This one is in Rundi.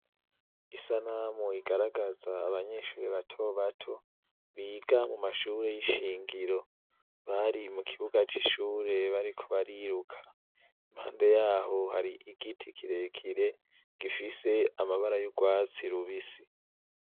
Isanamu igaragaza abanyeshuri ba tobato biga mu mashure y'ishingiro bari mu kibuga c'ishure bari kubariruka impande yaho hari igiti kirekire gifise amabara y'urwatsi lubisi.